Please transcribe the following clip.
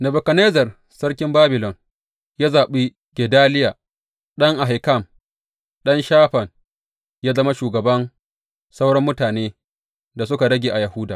Nebukadnezzar sarkin Babilon ya zaɓi Gedaliya ɗan Ahikam, ɗan Shafan yă zama shugaban sauran mutanen da suka rage a Yahuda.